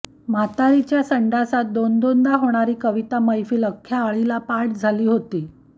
म्हाताऱ्याची संडासात दोनदोनदा होणारी कविता मैफल आख्ख्या आळीला पाठ झाली होती